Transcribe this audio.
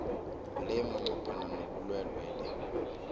le manqophana nobulwelwele